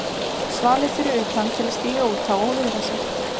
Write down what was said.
Svalir fyrir utan til að stíga út á og viðra sig.